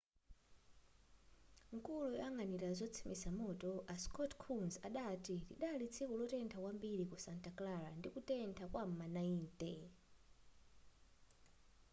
mkulu oyang'anira ozimitsa moto a scott kouns adati lidali tsiku lotentha kwambiri ku santa clara ndi kutentha kwa m'ma 90